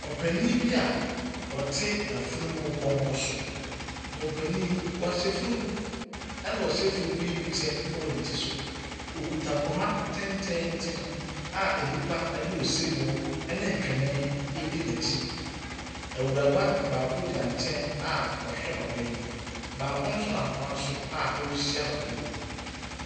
Opanin bi a ɔte afunumu pɔnkɔ so. Na ɔpani yi, ɔhyɛ fugu na ɔhyɛ fugu yi bi kyɛ wɔ ne ti so. Okita poma tententen a nnipa de osebɔ di n'akyi. Awuraba baako gyina nkyɛn a ɔhwɛ papa yi.